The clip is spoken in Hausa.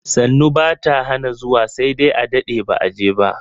Sannu bata hana zuwa sai dai a dade ba'a je ba.